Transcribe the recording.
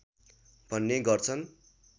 भन्ने गर्छन्